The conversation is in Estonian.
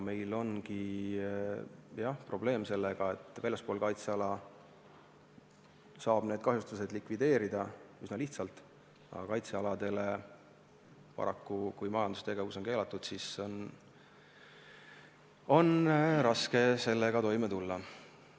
Meil ongi probleeme sellega, et väljaspool kaitseala saab need kahjustused likvideerida üsna lihtsalt, aga kaitsealadel, kus paraku majandustegevus on keelatud, on raske sellega toime tulla.